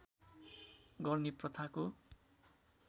गर्ने प्रथाको